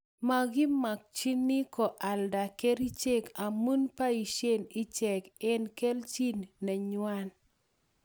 Makimakchini koalda kerichek amu poishe ichek eng' kelchin nengwai